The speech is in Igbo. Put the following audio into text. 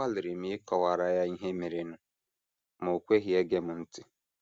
Agbalịrị m ịkọwara ya ihe merenụ, ma o kweghị ege m ntị.